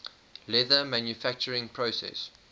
leather manufacturing process